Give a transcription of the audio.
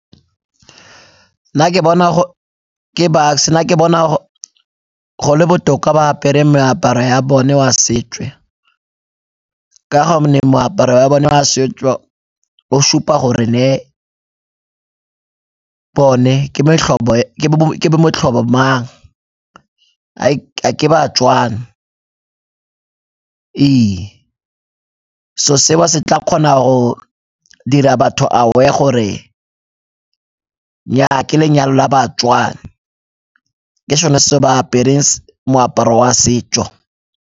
Nna ke bona, ke Bucks-e, nna ke bona go le botoka ba apere meaparo ya bone wa setswe ka gonne moaparo wa bona wa setso o supa gore bone ke bo metlhobo mang, a ke baTswana ee, se'o seo se tla kgona go dira batho aware gore nnyaa ke lenyalo la baTswana, ke sone se ba apereng moaparo wa setso.